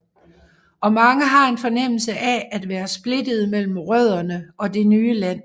Og mange har en fornemmelse af at være splittede mellem rødderne og det nye land